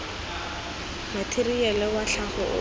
matheriale wa tlhago o o